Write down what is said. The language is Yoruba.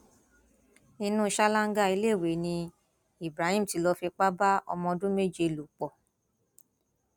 inú ṣáláńgá iléèwé ni ibrahim ti lọọ fipá bá ọmọọdún méje lò pọ